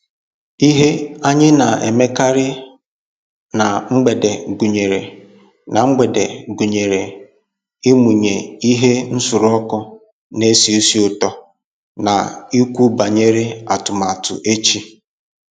Ihe anyị na emekarị na mgbede gụnyere na mgbede gụnyere ịmụnye ihe nsuru ọkụ na esi ísì ụtọ na ikwu banyere atụmatụ echi